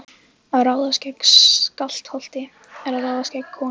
Að ráðast gegn Skálholti er að ráðast gegn konungi.